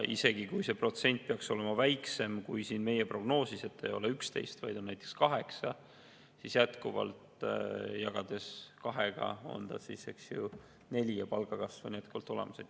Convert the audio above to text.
Isegi kui see protsent peaks olema väiksem, kui on siin meie prognoosis, et ei ole 11%, vaid on näiteks 8%, siis jagades kahega, eks ju, 4%-line palgakasv on olemas.